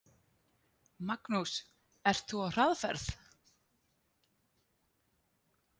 Magnús: Ert þú á hraðferð?